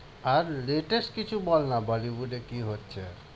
আর latest কিছু বলনা bollywood এ কি হচ্ছে?